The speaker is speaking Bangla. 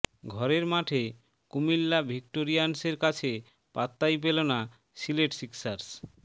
ঘরের মাঠে কুমিল্লা ভিক্টোরিয়ান্সের কাছে পাত্তাই পেল না সিলেট সিক্সার্স